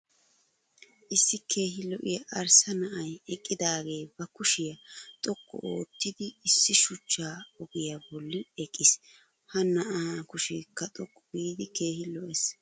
issi keehi lo'iya arssa na"ay eqqidaage ba kushshiya xoqqu oottidi isshi shuchcha ogiyaa boli eqqis. ha na'aa kusheekka xoqqu giidi keehi lo'ees.